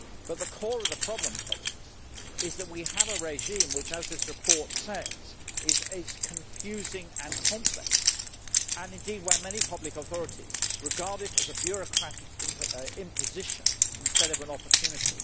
But the core of the problem, colleagues, is that we have a regime which, as this report says, is confusing and complex and indeed which many public authorities regard as a bureaucratic imposition instead of an opportunity.